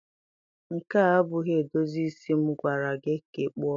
Nke a abụghị edozi isi m gwara gị ka ị kpụọ m.